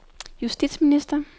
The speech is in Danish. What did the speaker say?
justitsminister